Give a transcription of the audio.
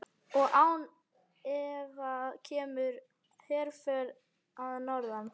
Og án efa kemur herför að norðan.